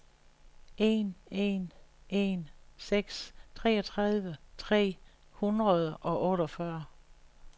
en en en seks treogtredive tre hundrede og otteogfyrre